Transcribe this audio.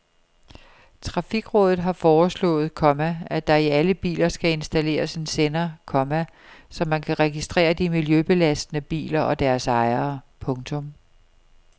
Trafikrådet har foreslået, komma at der i alle biler skal installeres en sender, komma så man kan registrere de miljøbelastende biler og deres ejere. punktum